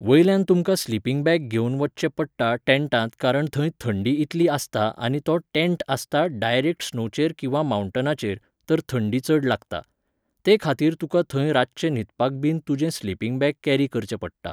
वयल्यान तुमकां sleeping bag घेवन वचचें पडटा टेन्टात कारण थंय थंडी इतली आसता आनी तो टेन्टआसता डायरेक्ट स्नोचेर किंवां मावन्टनाचेर, तर थंडी चड लागता. ते खातीर तुका थंय रातचें न्हिदपाक बीन तुजें स्लिपींग बेग केरी करचें पडटा.